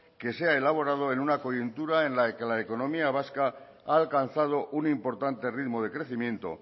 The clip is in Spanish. que se ha elaborado en una coyuntura en la que la económica vasca ha alcanzado un importante ritmo de crecimiento